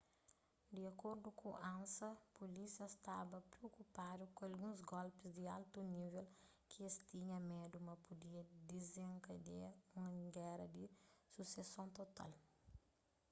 di acordu ku ansa pulísia staba priokupadu ku alguns golpis di altu nível ki es tinha medu ma pudia dizenkadia un géra di suseson total